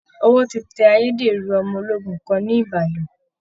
Ọwọ́ ti tẹ ayédèrú ọmọ ológun kan ní Ìbàdàn